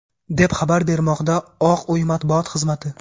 deb xabar bermoqda Oq uy matbuot xizmati.